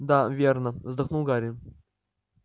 да верно вздохнул гарри